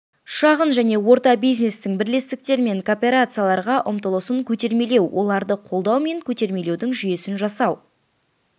шағын және орта бизнестің бірлестіктер мен кооперацияларға ұмтылысын көтермелеу оларды қолдау мен көтермелеудің жүйесін жасау